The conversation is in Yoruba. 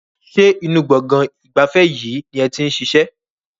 Ṣé inú gbọ̀ngàn ìgbafẹ́ yìí ni ẹ ti ń ṣiṣẹ́?